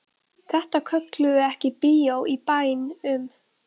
Þetta köllum við ekki bíó í bæn- um.